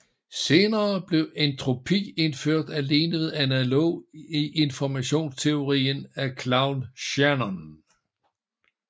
Senere blev entropi indført alene ved analogi i informationsteorien af Claude Shannon